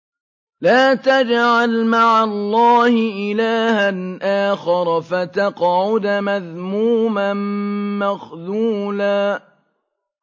لَّا تَجْعَلْ مَعَ اللَّهِ إِلَٰهًا آخَرَ فَتَقْعُدَ مَذْمُومًا مَّخْذُولًا